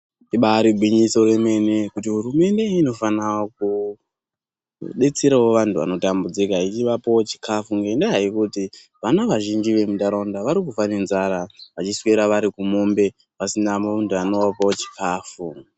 Ibaari gwinyiso remene kuti hurumende inofano kudetserao vanthu vanotambudzika ichivapao chikafu ngenyaya yekuti vana vazhinji vemuntharaunda vari kufa nenzara vachiwera vari kumombe pasiina munthu unovapao chikafu.